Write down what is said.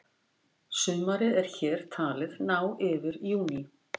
sumarið er hér talið ná yfir júní